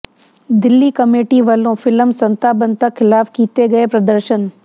Delhi committee ਵੱਲੋਂ film Santa Banta ਖਿਲਾਫ ਕੀਤੇ ਗਏ ਪ੍ਰਦਰਸ਼ਨ